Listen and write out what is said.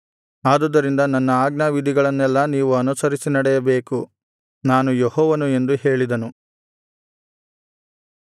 ಆದುದರಿಂದ ನನ್ನ ಆಜ್ಞಾವಿಧಿಗಳನ್ನೆಲ್ಲಾ ನೀವು ಅನುಸರಿಸಿ ನಡೆಯಬೇಕು ನಾನು ಯೆಹೋವನು ಎಂದು ಹೇಳಿದನು